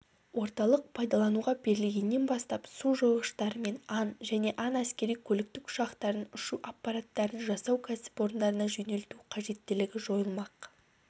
орталық пайдалануға берілгеннен бастап су жойғыштары мен ан және ан әскери-көліктік ұшақтарын ұшу аппараттарын жасау кәсіпорындарына жөнелту қажеттілігі жойылмақ